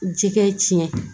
Jikɛ tiɲɛ